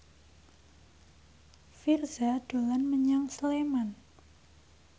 Virzha dolan menyang Sleman